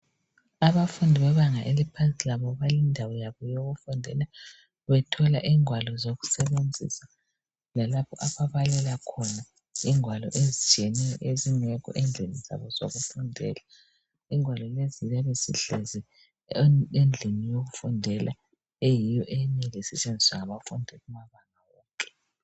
Abafundi bebanga eliphansi labo balendawo yabo yokufundela bethola igwalo zokusebenzisa lalapho ababalela khona ingwalo ezitshiyeneyo ezingekho endlini zabo zokufundela ingwalo lezi ziyabe zihlezi endlini yokufundela eyiyo esetshenziswa ngabafundi laba.